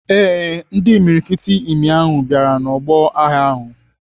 Ee, ndị imiriikiti imi ahụ bịara n'ọgbọ agha ahụ.